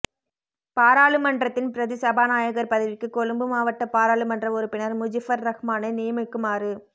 பாராளுமன்றத்தின் பிரதி சபாநாயகர் பதவிக்கு கொழும்பு மாவட்ட பாராளுமன்ற உறுப்பினர் முஜிபுர் ரஹ்மானை நியமிக்குமாறு